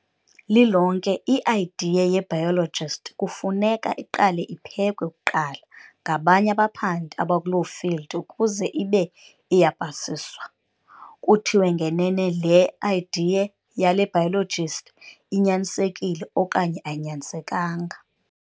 Lilonke i-idea yebiologist kufuneka iqale iphekwe kuqala ngabanye abaphandi abakuloo field ukuze ibe iyapasiswa, kuthiwe ngenene le "idea" yale biologist inyanisekile okanye ayinyanisekanga.